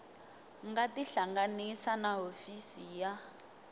nga tihlanganisa na hofisi ya